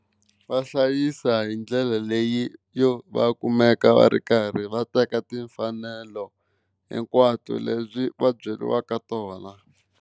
Va hlayisa hi ndlela leyi yo va kumeka va ri karhi va teka timfanelo hinkwato leti va byeriwaka tona.